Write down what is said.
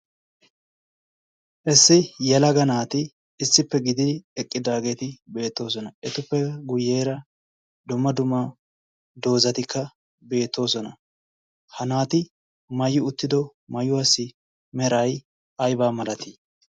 issi yalaga naati issippe gididi eqqidaageeti beettoosona. etuppe guyyeera dumma duma doozatikka beettoosona. ha naati maayi uttido maayuwaasi merai aibaa malatii?